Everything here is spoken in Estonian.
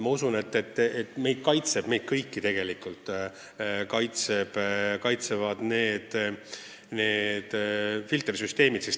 Ma usun, et meid kõiki kaitsevad olemasolevad filtersüsteemid.